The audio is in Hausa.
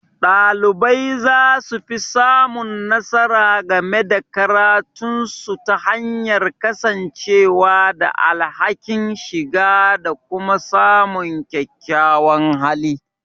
Dalibai za su fi samun nasara game da karatunsu ta hanyar kasancewa da alhakin, shiga, da kuma samun kyakkyawan hali.